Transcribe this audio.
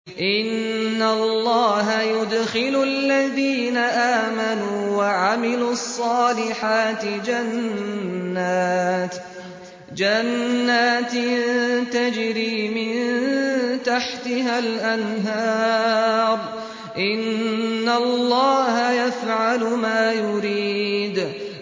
إِنَّ اللَّهَ يُدْخِلُ الَّذِينَ آمَنُوا وَعَمِلُوا الصَّالِحَاتِ جَنَّاتٍ تَجْرِي مِن تَحْتِهَا الْأَنْهَارُ ۚ إِنَّ اللَّهَ يَفْعَلُ مَا يُرِيدُ